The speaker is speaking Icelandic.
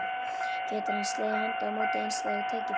Getur hann slegið hendi á móti einstæðu tækifæri?